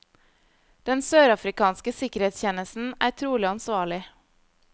Den sørafrikanske sikkerhetstjenesten er trolig ansvarlig.